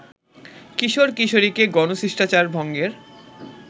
কিশোর-কিশোরীকে ‘গণশিষ্টাচার’ ভঙ্গের